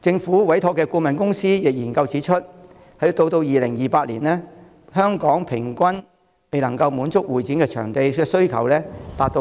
政府委託進行的顧問公司研究指出，到2028年，本港平均未能滿足的會展場地需求達 133,000